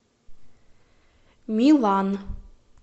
милан